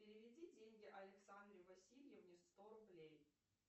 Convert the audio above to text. переведи деньги александре васильевне сто рублей